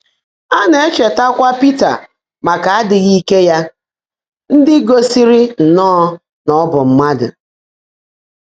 Á ná-ècheètaákwá Pị́tà màká ádị́ghị́ íke yá ndị́ gósị́rị́ nnọ́ọ́ ná ọ́ bụ́ mmádụ́.